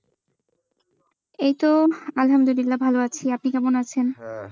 এইতো আলহামদুলিল্লাহ, ভালো আছি। আপনি কেমন আছেন?